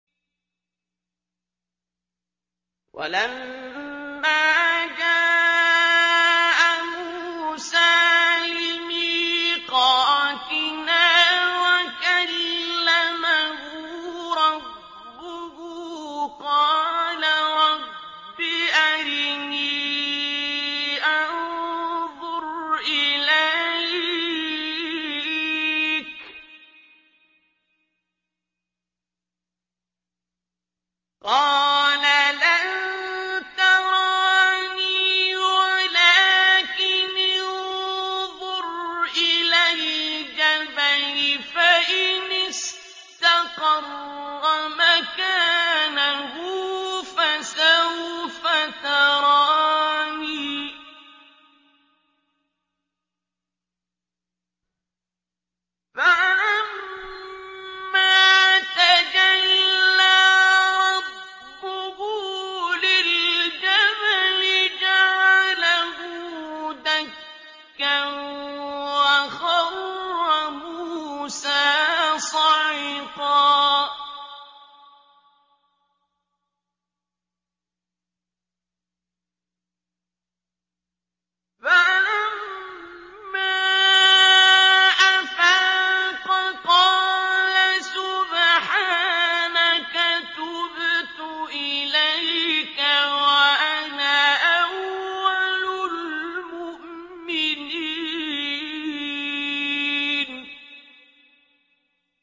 وَلَمَّا جَاءَ مُوسَىٰ لِمِيقَاتِنَا وَكَلَّمَهُ رَبُّهُ قَالَ رَبِّ أَرِنِي أَنظُرْ إِلَيْكَ ۚ قَالَ لَن تَرَانِي وَلَٰكِنِ انظُرْ إِلَى الْجَبَلِ فَإِنِ اسْتَقَرَّ مَكَانَهُ فَسَوْفَ تَرَانِي ۚ فَلَمَّا تَجَلَّىٰ رَبُّهُ لِلْجَبَلِ جَعَلَهُ دَكًّا وَخَرَّ مُوسَىٰ صَعِقًا ۚ فَلَمَّا أَفَاقَ قَالَ سُبْحَانَكَ تُبْتُ إِلَيْكَ وَأَنَا أَوَّلُ الْمُؤْمِنِينَ